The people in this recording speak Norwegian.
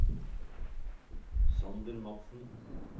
Sander Madsen